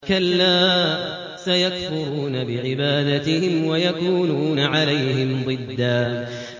كَلَّا ۚ سَيَكْفُرُونَ بِعِبَادَتِهِمْ وَيَكُونُونَ عَلَيْهِمْ ضِدًّا